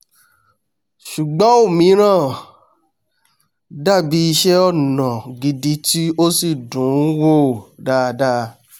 ṣùgbọ́n ọ̀míràn dàbí iṣẹ́-ọnà gidi tí ó sì dùn-ún wò dáadáa